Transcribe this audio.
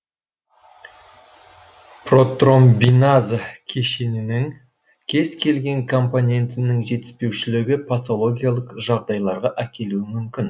протромбиназа кешенінің кез келген компонентінің жетіспеушілігі патологиялық жағдайларға әкелуі мүмкін